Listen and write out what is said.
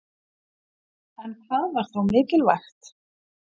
En hvað var þá mikilvægt?